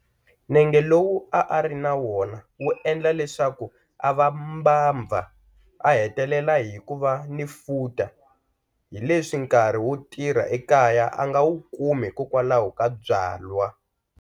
Nenge lowu a a ri na wona wu endla leswaku a va mbabva, a hetelela hi ku va ni futa hileswi nkarhi wo tirha ekaya a nga wu kumi hikokwalaho ka byalwa.